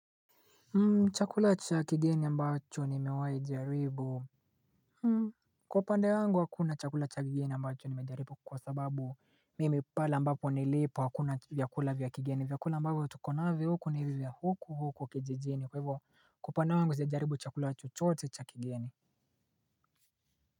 Chakula cha kigeni ambacho nimewahi jaribu Kwa upande wangu hakuna chakula cha kigeni ambacho nimejaribu kwa sababu mimi pale mbapo nilipo hakuna vyakula vyakigeni vyakula mbago tukonavyo huko ni hivyo huko huko kijijini kwa hivyo kwaupande wangu sija jaribu chakula chochote cha kigeni.